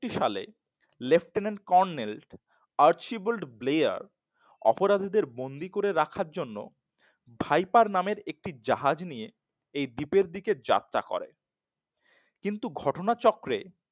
টি সালে Lieutenant Colonel Archibald Blair অপরাধীরের বন্দি করে রাখার জন্য ভাইপার নামের একটি জাহাজ নিয়ে এই দ্বীপের দিকে যাত্রা করেন কিন্তু ঘটনাচক্রের